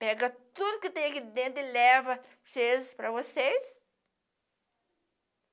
Pega tudo que tem aqui dentro e leva para vocês?